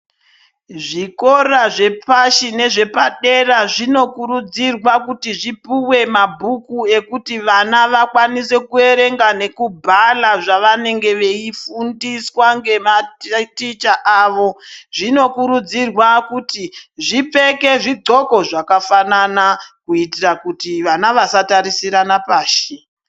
Zvikora zvepashi nezvepadera zvinokurudzirwa kuti zvipuwe mabhuku ekuti vana vakwanise kuyerenga nekubhala zvavanenge veyifundiswa ngematicha avo. Zvinokurudzirwa kuti zvipfeke zvigxoko zvakafanana, kuyitira kuti vana vasatarisirana pashi.